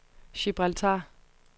Gibraltar